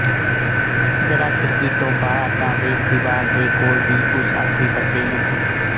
ਜਰਾ ਖਿੜਕੀ ਤੋਂ ਬਾਹਰ ਤਾਂ ਵੇਖ ਦੀਵਾਰ ਦੇ ਕੋਲ ਦੀ ਉਸ ਆਖਰੀ ਪੱਤੇ ਨੂੰ